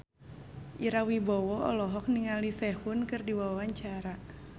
Ira Wibowo olohok ningali Sehun keur diwawancara